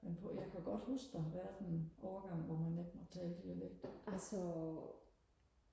men på jeg kan godt huske der har været en overgang hvor man ikke måtte tale dialekt